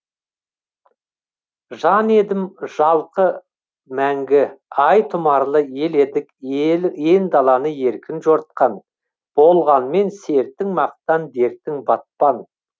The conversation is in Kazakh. жан едім жалқы мәңгі ай тұмарлы ел едік ен даланы еркін жортқан болғанмен сертің мақтан дертің батпан